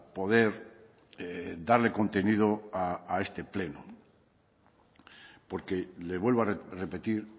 poder darle contenido a este pleno porque le vuelvo a repetir